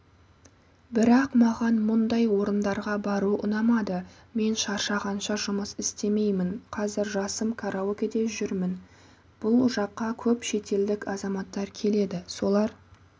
бірақ маған мұндай орындарға бару ұнамады мен шаршағанша жұмыс істемеймін қазір жасым караокеде жүрмін бұл жаққа көп шетелдік азаматтар келеді солар